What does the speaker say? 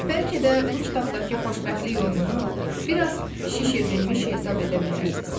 Bəlkə də bu kitabdakı xoşbəxtlik oyununu bir az şişirdilmiş hesab edə bilərsiniz.